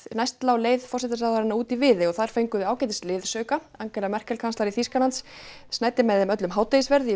næst lá leiðin út í Viðey og þar fengu þau ágætis liðsauka Angela Merkel kanslari Þýskalands snæddi með þeim öllum hádegisverð í